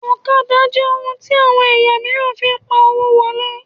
Ọ̀kadà jẹ ohun tí àwọn ẹ̀yà míìràn fín pá owo wọlé